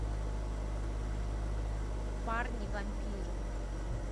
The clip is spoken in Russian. парни вампиры